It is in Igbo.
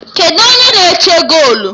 Kedụ u onye na-eche golu?